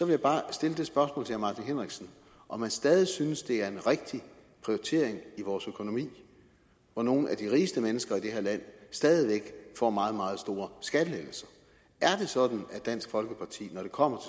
jeg bare stille det spørgsmål til herre martin henriksen om han stadig synes det er en rigtig prioritering i vores økonomi når nogle af de rigeste mennesker i det her land stadig væk får meget meget store skattelettelser er det sådan at dansk folkeparti når det kommer